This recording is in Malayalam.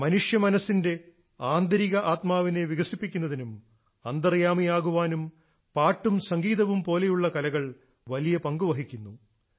മനുഷ്യ മനസ്സിന്റെ ആന്തരിക ആത്മാവിനെ വികസിപ്പിക്കുന്നതിനും അന്തർയാമിയാകാനും പാട്ടും സംഗീതവും പോലെയുള്ള കലകൾ വലിയ പങ്കുവഹിക്കുന്നു